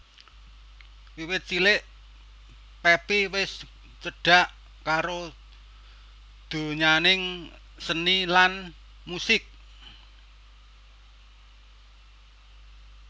Wiwit cilik Pepi wis cedhak karo donyaning seni lan musik